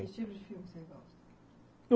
Que tipo de filme você gosta?